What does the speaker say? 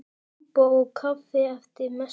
Súpa og kaffi eftir messu.